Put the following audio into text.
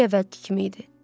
Hər şey əvvəlki kimi idi.